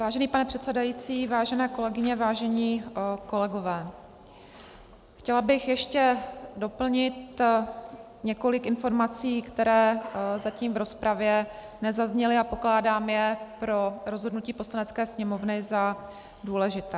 Vážený pane předsedající, vážené kolegyně, vážení kolegové, chtěla bych ještě doplnit několik informací, které zatím v rozpravě nezazněly a pokládám je pro rozhodnutí Poslanecké sněmovny za důležité.